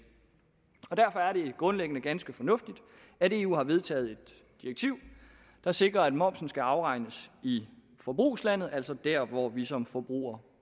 derfor er det grundlæggende ganske fornuftigt at eu har vedtaget et direktiv der sikrer at momsen skal afregnes i forbrugslandet altså der hvor vi som forbrugere